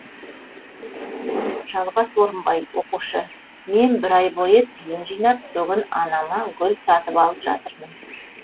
жалғас орынбай оқушы мен бір ай бойы тиын жинап бүгін анама гүл сатып алып жатырмын